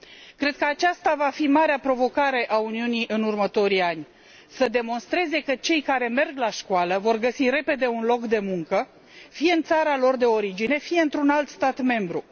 Cred că aceasta va fi marea provocare a Uniunii în următorii ani să demonstreze că cei care merg la școală vor găsi repede un loc de muncă, fie în țara lor de origine, fie într un alt stat membru.